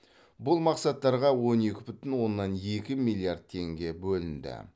бұл мақсаттарға он екі бүтін оннан екі миллиард теңге бөлінді